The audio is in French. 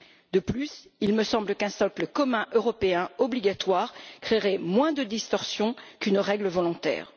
De plus, il me semble qu'un socle commun européen obligatoire créerait moins de distorsion qu'une règle volontaire.